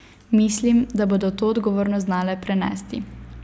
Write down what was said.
Mislim, da bodo to odgovornost znale prenesti.